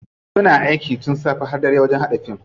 Suna aiki tun safe har dare wajen haɗa fim.